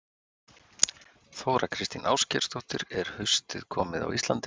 Þóra Kristín Ásgeirsdóttir: Er haustið komið á Íslandi?